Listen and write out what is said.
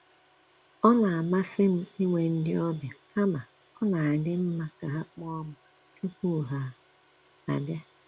Ọ na amasị m inwe ndị ọbịa, kama ọ na-adịm mma ka ha kpọọ m tupu ha abia